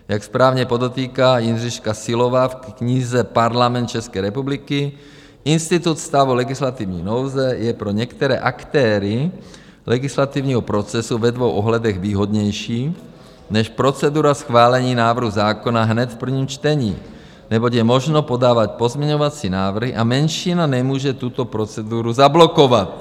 Jak správně podotýká Jindřiška Syllová v knize Parlament České republiky, institut stavu legislativní nouze je pro některé aktéry legislativního procesu ve dvou ohledech výhodnější než procedura schválení návrhu zákona hned v prvním čtení, neboť je možno podávat pozměňovací návrhy a menšina nemůže tuto proceduru zablokovat.